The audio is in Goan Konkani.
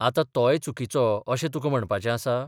आतां तोय चुकीचो अशें तुका म्हणपाचें आसा?